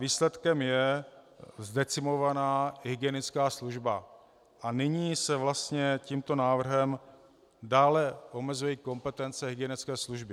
Výsledkem je zdecimovaná hygienická služba - a nyní se vlastně tímto návrhem dále omezují kompetence hygienické služby.